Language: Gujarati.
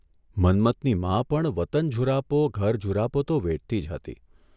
મન્મથની મા પણ વતન ઝુરાપો ઘરઝુરાપો તો વેઠતી જ હતી.